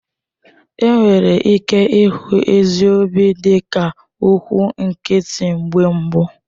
Enwere ike ịhụ ezi obi dịka okwụ nkịtị mgbe mbụ.